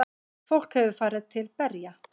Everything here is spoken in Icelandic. Fólk hefur farið til berja.